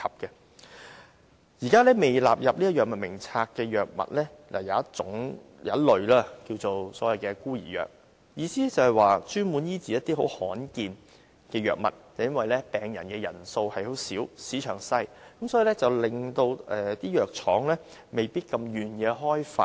現時在未納入《藥物名冊》的藥物中，有一類俗稱為"孤兒藥"，所指的是專門醫治一些罕見疾病的藥物，而由於病人人數少、市場小，以致藥廠未必願意開發。